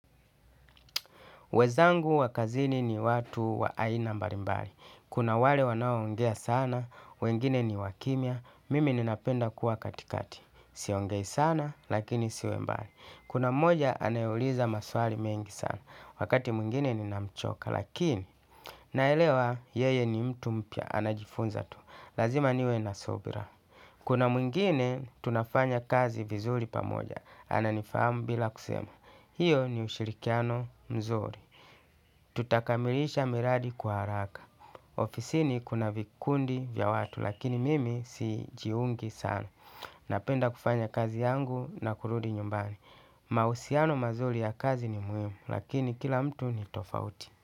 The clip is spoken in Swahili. Wezangu wa kazini ni watu wa aina mbalimbali. Kuna wale wanaoongea sana, wengine ni wakimia, mimi ninapenda kuwa katikati. Siongei sana, lakini siwembali. Kuna mmoja anayeuliza maswali mengi sana, wakati mwingine ninamchoka, lakini naelewa yeye ni mtu mpya, anajifunza tu. Lazima niwe nasubira. Kuna mwingine tunafanya kazi vizuri pamoja. Ananifahamu bila kusema. Hiyo ni ushirikiano mzuri. Tutakamilisha miradi kwa haraka. Ofisini kuna vikundi vya watu lakini mimi si jiungi sana. Napenda kufanya kazi yangu na kurudi nyumbani. Mausiano mazuri ya kazi ni muhimu lakini kila mtu ni tofauti.